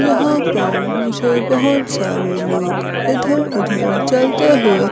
यहां पर मुझे बहोत सारे लोग इधर उधर चलते हुए--